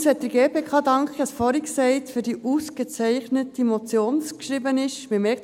Erstens möchte ich der GPK – ich habe es vorhin schon gesagt – für die ausgezeichnet geschriebene Motion danken.